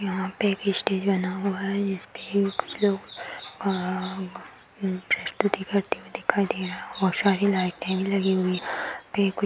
यहाँ पे स्टेज बना हुआ है जिसपे कुछ लोग प्रस्तुति करते हुए दिखाई दे रहे हैं और शाही लाइटे भी लगी हुई हैं।